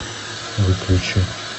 выключи